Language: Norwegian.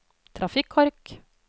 trafikkork